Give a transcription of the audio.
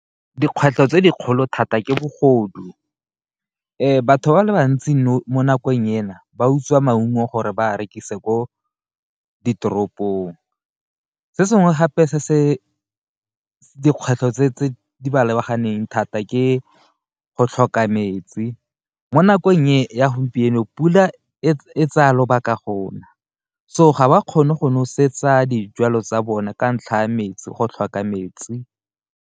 Dikgwetlho tse dikgolo thata ke bogodu batho ba le bantsi mo nakong ena ba utswa maungo gore ba rekise ko ditoropong, se sengwe gape se se dikgwetlho tse di ba lebaganeng thata ke go tlhoka metsi mo nakong e ya gompieno pula e tsaya lobaka go na, so ga ba kgone go nosetsa dijalo tsa bona ka ntlha ya metsi go tlhoka metsi.